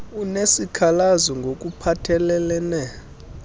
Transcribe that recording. unesikhalazo ngok uphathelelene